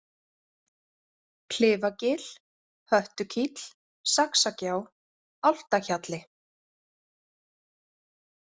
Klifagil, Höttukíll, Saxagjá, Álftahjalli